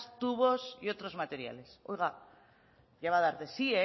tubos y otros materiales oiga ya va a dar de sí